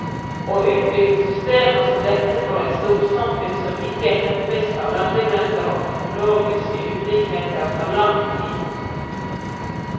Å utvikle systemer som dette for et storsamfunn som ikke hemmes av landegrenser og teknologiske ulikheter, tar lang tid.